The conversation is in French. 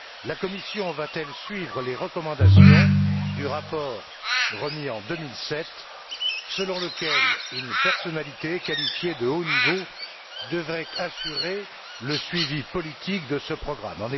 La Commission va t elle suivre les recommandations du rapport remis en 2007, selon lequel une personnalité qualifiée de haut niveau devrait assurer le suivi politique de ce programme?